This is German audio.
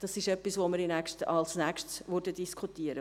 Dies ist etwas, was wir als Nächstes diskutieren.